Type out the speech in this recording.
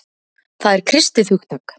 Það er kristið hugtak.